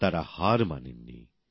তারা হার মানেননি